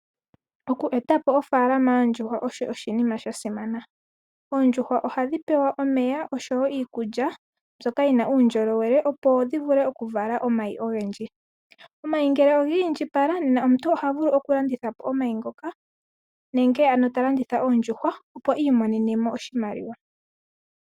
Oku eta po ofaalama yoondjuhwa osho oshinima sha simana. Oondjuhwa odha pumbwa okupewa omeya oshowo iikulya mbyoka yi na uundjolowele, opo dhi vule okuvala omayi ogendji, omayi ngele oogi indjipala omuntu oha vulu okulanditha po omayi ngoka nenge ano oondjuhwa opo iimonene mo oshimaliwa.